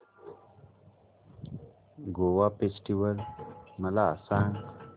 Goa festival मला सांग